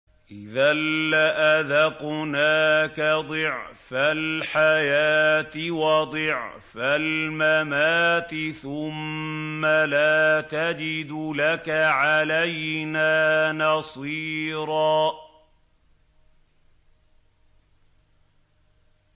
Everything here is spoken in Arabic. إِذًا لَّأَذَقْنَاكَ ضِعْفَ الْحَيَاةِ وَضِعْفَ الْمَمَاتِ ثُمَّ لَا تَجِدُ لَكَ عَلَيْنَا نَصِيرًا